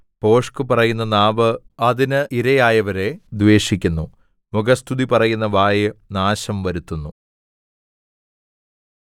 ഭോഷ്ക്കു പറയുന്ന നാവ് അതിനിരയായവരെ ദ്വേഷിക്കുന്നു മുഖസ്തുതി പറയുന്ന വായ് നാശം വരുത്തുന്നു